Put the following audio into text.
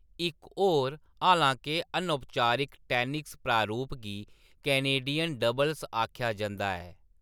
इक्क होर, हालां-के अनौपचारक, टैनिस प्रारूप गी कैनेडियन डबल्स आखेआ जंदा ऐ।